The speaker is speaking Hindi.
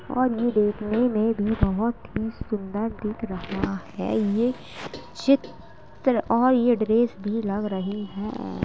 और ये देखने में भी बहोत ही सुंदर दिख रहा है। ये चित्र और यह ड्रेस भी लग रही है।